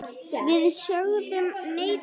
Við sögðum nei, takk!